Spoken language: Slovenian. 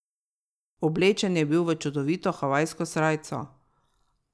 Oblečen je bil v čudovito havajsko srajco.